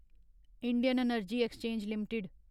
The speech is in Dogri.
Indian energy exchange limited